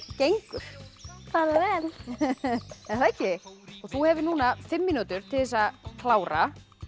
gengur bara vel þú hefur núna fimm mínútur til þess að klára